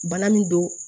Bana min don